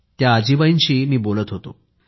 त्या आजीबाईंशी मी बोलत होतो